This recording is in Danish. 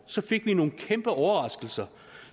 fik vi nogle kæmpe overraskelser